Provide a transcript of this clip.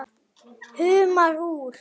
Humar úr